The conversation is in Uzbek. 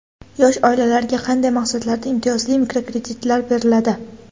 Yosh oilalarga qanday maqsadlarda imtiyozli mikrokreditlar beriladi?.